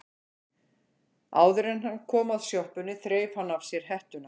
Áður en hann kom að sjoppunni þreif hann af sér hettuna.